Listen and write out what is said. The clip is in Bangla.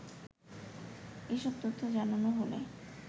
এসব তথ্য জানানো হলে